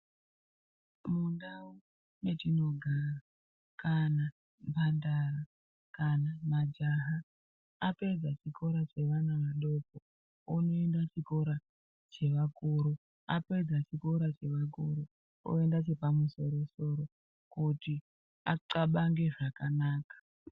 Mundau mwatinogara kana mhandara kana majaha apedza chikora chevana vadoko vanoenda kuchikora chevakuru apedza chikora chevakuru oenda chepamusoro soro kuti axabange zvakanaka.